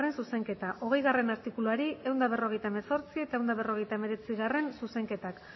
zuzenketa hogeigarrena artikuluari ehun eta berrogeita hemezortzi eta ehun eta berrogeita hemeretzigarrena zuzenketak